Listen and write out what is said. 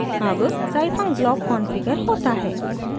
अब scifunc block configure होता है